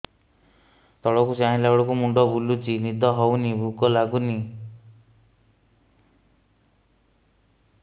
ତଳକୁ ଚାହିଁଲା ବେଳକୁ ମୁଣ୍ଡ ବୁଲୁଚି ନିଦ ହଉନି ଭୁକ ଲାଗୁନି